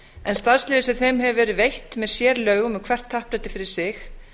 en starfsleyfin sem þeim hefur verið veitt með sérlögum um hvert happdrætti fyrir sig